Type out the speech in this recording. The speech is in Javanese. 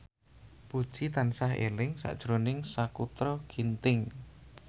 Puji tansah eling sakjroning Sakutra Ginting